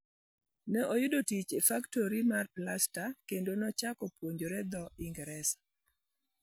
Ne oyudo tich e faktori mar plasta kendo nochako puonjore dho Ingresa.